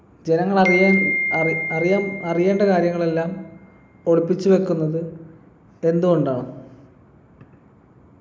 ജനങ്ങളധികം അറി അറിയം അറിയേണ്ട കാര്യങ്ങളെല്ലാം ഒളിപ്പിച്ചു വെക്കുന്നത് എന്തുകൊണ്ടാണ്